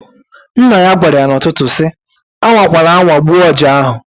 Nna ya gwara ya n'ụtụtụ si, "A nwakwala anwa gbuo ọja ahụ!"